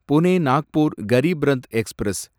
Pune Nagpur Garib Rath express